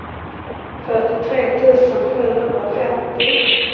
fyrtiotre tusen sjuhundrafemtio